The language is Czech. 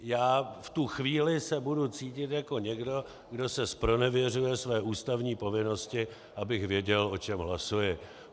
Já v tu chvíli se budu cítit jako někdo, kdo se zpronevěřuje své ústavní povinnosti, abych věděl, o čem hlasuji.